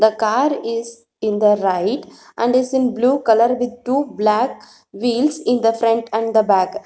the car is in the right and is in blue colour with two black wheels in the front and the back.